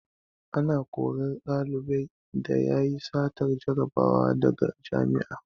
Ana korar ɗalibin da yayi satar jarabawa daga jami'a